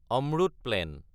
Amrut plan